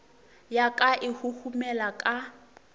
ya ka e huhumela ka